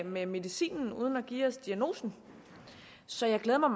med medicinen uden at give os diagnosen så jeg glæder mig